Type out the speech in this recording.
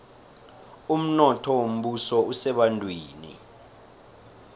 umnotho wombuso usebantwini